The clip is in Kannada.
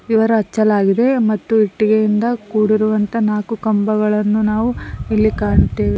ವಿವರ ಹಚ್ಚಲಾಗಿದೆ ಮತ್ತು ಇಟ್ಟಿಗೆಯಿಂದ ಕೂಡಿರುವಂತ ನಾಕು ಕಂಬಗಳನ್ನು ನಾವು ಇಲ್ಲಿ ಕಾಣುತ್ತೇವೆ.